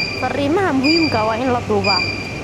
Fariimaha muhiimka ah waa in la duubaa.